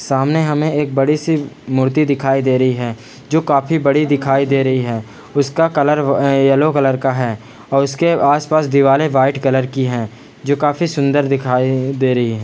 सामने हमें एक बड़ी सी मूर्ति दिखाई दे रही है जो काफी बड़ी दिखाई दे रही है उसका कलर अ येलो कलर का है और उसके आस-पास दीवारें वाइट कलर की है जो काफी सुंदर दिखाई दे रही है।